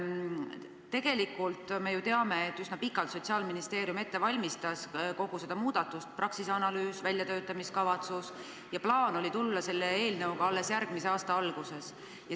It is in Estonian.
Tegelikult me ju teame, et Sotsiaalministeerium valmistas üsna pikalt ette kogu seda muudatust – Praxise analüüs, väljatöötamiskavatsus – ja plaan oli tulla sellega välja alles järgmise aasta alguses.